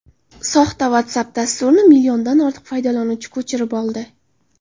Soxta WhatsApp dasturini milliondan ortiq foydalanuvchi ko‘chirib oldi.